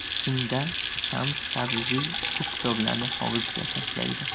Shunda Shams Tabriziy bu kitoblarni hovuzga tashlaydi.